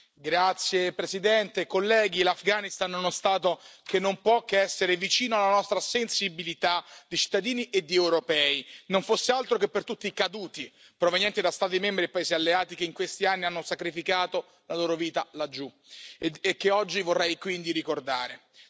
Signor Presidente, onorevoli colleghi, l'Afghanistan è uno Stato che non può che essere vicino alla nostra sensibilità di cittadini e di europei, non fosse altro che per tutti i caduti provenienti da Stati membri e paesi alleati che in questi anni hanno sacrificato la loro vita laggiù e che oggi vorrei quindi ricordare.